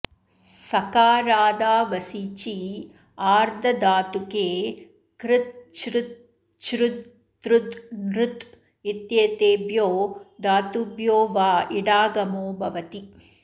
सकारादावसिचि आर्धधातुके कृत चृत छृद तृद नृत इत्येतेभ्यो धातुभ्यो वा इडागमो भवति